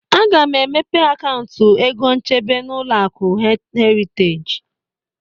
Aga m emepe akauntụ egonchebe n'ụlọaku Heriteji